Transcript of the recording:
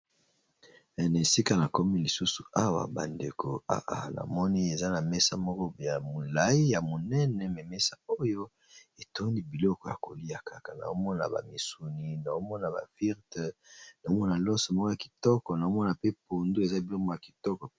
Na esika na komi lisusu awa bandeko namoni eza na mesa moko ya molayi ya monene me mesa oyo etondi biloko ya kolia kaka na omona ba misuni, na omona ba firte, na omona loso moko ya kitoko na omona pe pondu eza biloko moko ya kitoko.